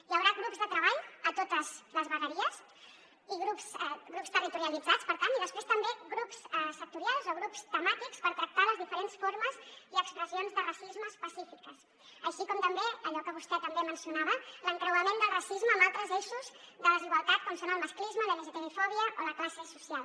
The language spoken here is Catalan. hi haurà grups de treball a totes les vegueries grups territorialitzats per tant i després també grups sectorials o grups temàtics per tractar les diferents formes i expressions de racisme específiques així com també allò que vostè també mencionava l’encreuament del racisme amb altres eixos de desigualtat com són el masclisme la lgtbi fòbia o la classe social